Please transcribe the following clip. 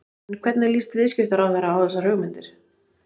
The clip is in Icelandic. En hvernig líst viðskiptaráðherra á þessar hugmyndir?